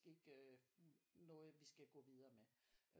Ikke noget vi skal gå videre med